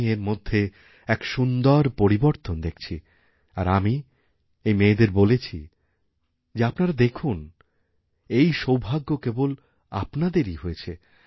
আমি এর মধ্যে এক সুন্দর পরিবর্তনদেখছি আর আমি এই মেয়েদের বলেছি যে আপনারা দেখুন এই সৌভাগ্য কেবল আপনাদেরই হয়েছে